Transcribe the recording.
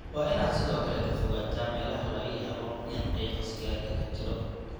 Waa inaad sidoo kale ka fogaataa meelaha laga yaabo inuu qiiqa sigaarka ka jiro.